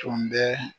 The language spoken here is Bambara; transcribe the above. Tun bɛ